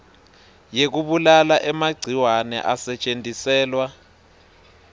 yekubulala emagciwane asetjentiselwa